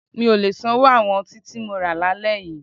Mi ò lè sanwó àwọn ọtí tí mo ti rà lálẹ́ yí.